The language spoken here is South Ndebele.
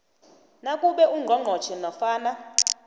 nakube ungqongqotjhe nofana